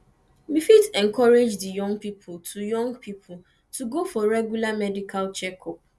we fit encourage di young pipo to young pipo to go for regular medical checkup